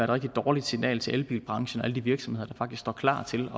rigtig dårligt signal til elbilbranchen og alle de virksomheder der faktisk står klar til